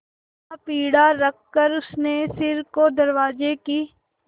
वहाँ पीढ़ा रखकर उसने सिर को दरवाजे की